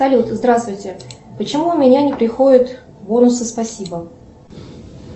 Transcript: салют здравствуйте почему у меня не приходят бонусы спасибо